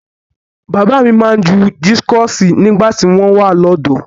Bàbá mi máa ń ju dískọ̀sì nígbà tí wọ́n wà lọ́dọ̀ọ́.